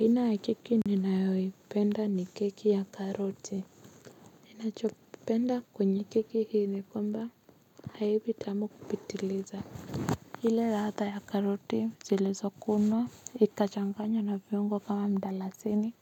Aina ya keki ninayoipenda ni keki ya karoti. Ninachopenda kwenye keki hii nikwamba haivi tamu kupitiliza. Ile ladha ya karoti zilizokunwa, ikachanganywa na viungo kama mdalasini